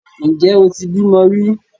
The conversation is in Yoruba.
Ǹjẹ́ o ti bímọ rí?